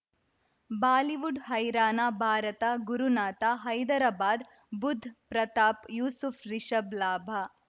Bollywood ಹೈರಾಣ ಭಾರತ ಗುರುನಾಥ ಹೈದರಾಬಾದ್ ಬುಧ್ ಪ್ರತಾಪ್ ಯೂಸುಫ್ ರಿಷಬ್ ಲಾಭ